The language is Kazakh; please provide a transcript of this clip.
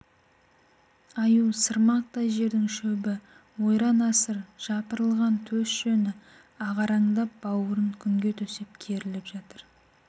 аю сырмақтай жердің шөбі ойран-асыр жапырылған төс жүні ағараңдап бауырын күнге төсеп керіліп жатыр